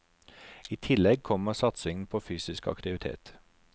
I tillegg kommer satsingen på fysisk aktivitet.